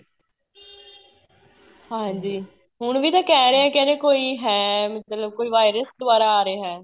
ਹਾਂਜੀ ਹੁਣ ਵੀ ਤਾਂ ਕਹਿ ਰਹੇ ਕਹਿੰਦੇ ਕੋਈ ਹੈ ਮਤਲਬ ਕੋਈ virus ਦੁਆਰਾ ਆ ਰਿਹਾ ਹੈ